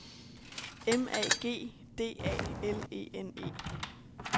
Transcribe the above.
M A G D A L E N E